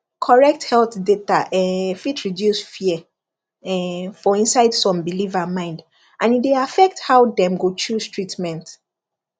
correct health data um fit reduce fear um for inside some believer mind and e dey affect how dem go choose treatment